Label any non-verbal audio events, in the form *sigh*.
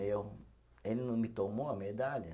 *unintelligible* Ele não me tomou a medalha?